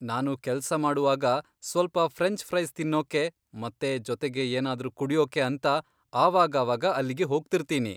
ನಾನು ಕೆಲ್ಸ ಮಾಡುವಾಗ ಸ್ವಲ್ಪ ಫ್ರೆಂಚ್ ಫ್ರೈಸ್ ತಿನ್ನೋಕೆ ಮತ್ತೆ ಜೊತೆಗೆ ಏನಾದ್ರೂ ಕುಡ್ಯೋಕೆ ಅಂತ ಆವಾಗಾವಾಗ ಅಲ್ಲಿಗೆ ಹೋಗ್ತಿರ್ತೀನಿ.